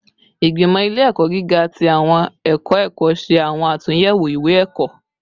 Igbimọ ile-ẹkọ giga ti awọn ẹkọ ẹkọ ṣe awọn atunyẹwo iwe-ẹkọ